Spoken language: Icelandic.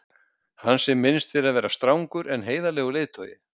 Hans er minnst fyrir að vera strangur en heiðarlegur leiðtogi.